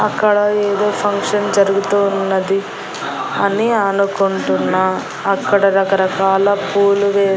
అక్కడ ఏదో ఫంక్షన్ జరుగుతూ ఉన్నది అని అనుకుంటున్న అక్కడ రకరకాల పూలు వే--